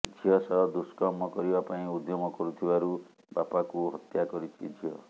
ଝିଅ ସହ ଦୁଷ୍କର୍ମ କରିବା ପାଇଁ ଉଦ୍ୟମ କରୁଥିବାରୁ ବାପାକୁ ହତ୍ୟା କରିଛି ଝିଅ